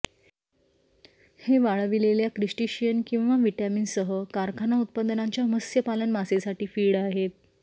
हे वाळविलेल्या क्रिस्टीशियन किंवा व्हिटॅमिन सह कारखाना उत्पादनांच्या मत्स्यपालन मासेसाठी फीड आहेत